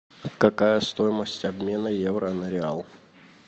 какая стоимость обмена евро на реал